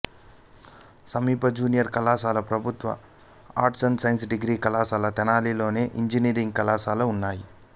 సమీప జూనియర్ కళాశాల ప్రభుత్వ ఆర్ట్స్ సైన్స్ డిగ్రీ కళాశాల తెనాలిలోను ఇంజనీరింగ్ కళాశాల చేబ్రోలులోనూ ఉన్నాయి